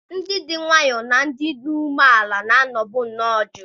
Ndị dị nwayọọ na ndị dị umeala n'obi na-anọbu nnọọ jụụ.